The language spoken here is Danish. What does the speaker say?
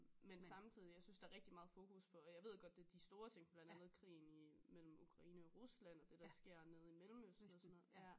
Men samtidig jeg synes der er rigitg meget fokus på og jeg ved godt det er de store ting blandt andet krigen i mellem Ukraine og Rusland og det der sker nede i Mellemøsten og sådan noget ja